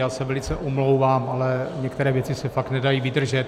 Já se velice omlouvám, ale některé věci se fakt nedají vydržet.